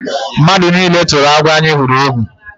Mmadụ nile turu agwọ anyị hụrụ egwu.